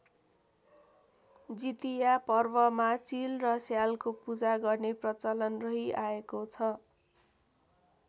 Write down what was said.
जितिया पर्वमा चिल र स्यालको पूजा गर्ने प्रचलन रहि आएको छ।